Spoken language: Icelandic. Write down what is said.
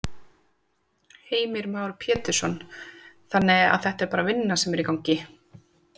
Heimir Már Pétursson: Þannig að þetta er bara vinna sem er í gangi?